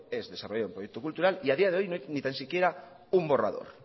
es desarrollar un proyecto cultura y a día de hoy no hay ni tan siquiera un borrador